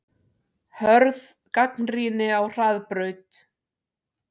Hörð gagnrýni á Hraðbraut